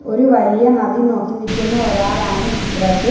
ഒരു വലിയ നദി നോക്കി നിക്കുന്ന ഒരാളാണ് ചിത്രത്തിൽ.